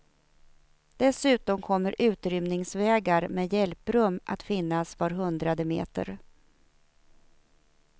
Dessutom kommer utrymningsvägar med hjälprum att finnas var hundrade meter.